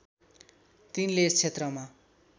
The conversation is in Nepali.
तिनले यस क्षेत्रमा